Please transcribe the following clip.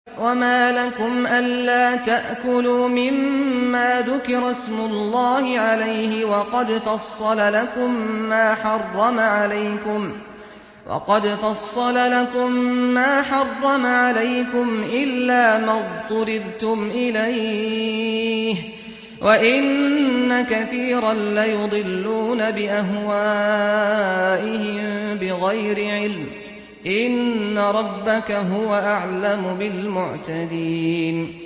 وَمَا لَكُمْ أَلَّا تَأْكُلُوا مِمَّا ذُكِرَ اسْمُ اللَّهِ عَلَيْهِ وَقَدْ فَصَّلَ لَكُم مَّا حَرَّمَ عَلَيْكُمْ إِلَّا مَا اضْطُرِرْتُمْ إِلَيْهِ ۗ وَإِنَّ كَثِيرًا لَّيُضِلُّونَ بِأَهْوَائِهِم بِغَيْرِ عِلْمٍ ۗ إِنَّ رَبَّكَ هُوَ أَعْلَمُ بِالْمُعْتَدِينَ